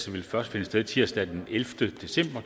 vil først finde sted tirsdag den ellevte december